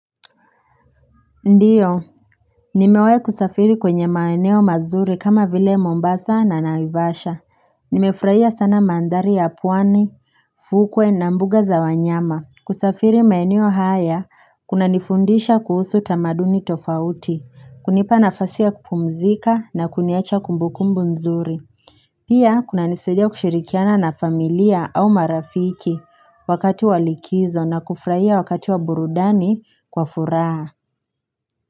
Ndio, nimewahi kusafiri kwenye maeneo mazuri kama vile Mombasa na naivasha. Nimefurahia sana mandhari ya pwani, fukwe na mbuga za wanyama. Kusafiri maeneo haya, kuna nifundisha kuhusu tamaduni tofauti, kunipa nafasi ya kupumzika na kuniacha kumbukumbu nzuri. Pia, kuna nisaidia kushirikiana na familia au marafiki wakati walikizo na kufurahia wakati wa burudani kwa furaha.